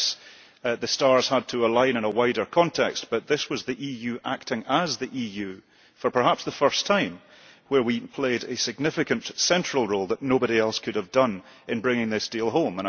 Yes, the stars had to align in a wider context, but this was the EU acting as the EU for perhaps the first time, where we played a significant central role that nobody else could have done in bringing this deal home.